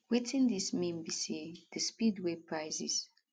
wetin dis mean be say di speed wey prices